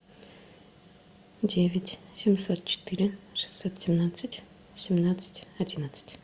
девять семьсот четыре шестьсот семнадцать семнадцать одиннадцать